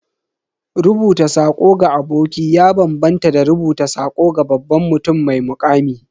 Rubuta sako ga aboki ya bambanta da rubuta sako ga babban mutum mai muƙami.